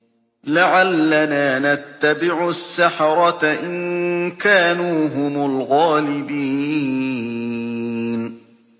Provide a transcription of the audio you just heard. لَعَلَّنَا نَتَّبِعُ السَّحَرَةَ إِن كَانُوا هُمُ الْغَالِبِينَ